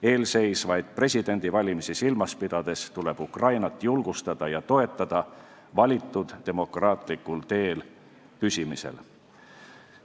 Eelseisvaid presidendivalimisi silmas pidades tuleb Ukrainat julgustada ja toetada valitud demokraatlikul teel püsimisel.